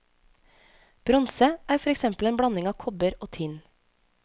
Bronse, er for eksempel en blanding av kobber og tinn.